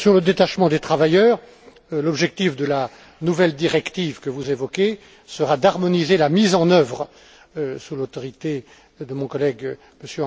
Sur le détachement des travailleurs, l'objectif de la nouvelle directive que vous évoquez sera d'harmoniser la mise en œuvre, sous l'autorité de mon collègue M.